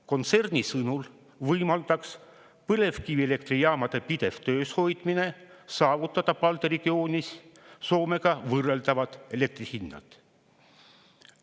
Kontserni sõnul võimaldaks põlevkivielektrijaamade pidev töös hoidmine saavutada Balti regioonis Soomega võrreldavad elektri hinnad.